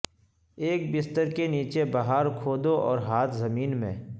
ایک بستر کے نیچے بہار کھودو اور ھاد زمین میں